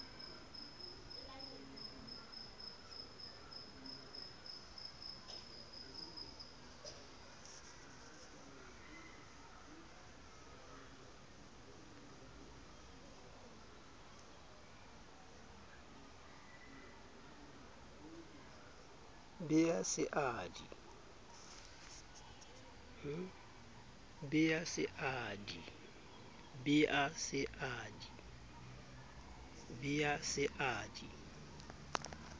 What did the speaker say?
be a se a di